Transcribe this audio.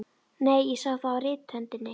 Nei, ég sá það á rithöndinni.